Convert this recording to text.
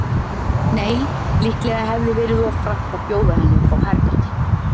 Nei, líklega hefði verið of frakkt að bjóða henni upp á herbergi.